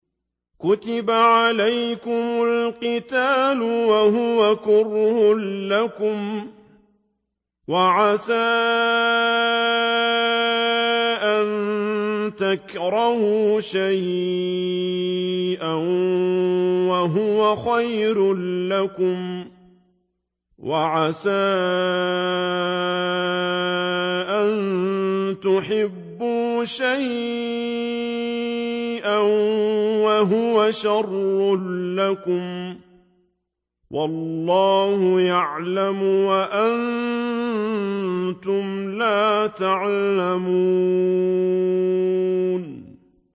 كُتِبَ عَلَيْكُمُ الْقِتَالُ وَهُوَ كُرْهٌ لَّكُمْ ۖ وَعَسَىٰ أَن تَكْرَهُوا شَيْئًا وَهُوَ خَيْرٌ لَّكُمْ ۖ وَعَسَىٰ أَن تُحِبُّوا شَيْئًا وَهُوَ شَرٌّ لَّكُمْ ۗ وَاللَّهُ يَعْلَمُ وَأَنتُمْ لَا تَعْلَمُونَ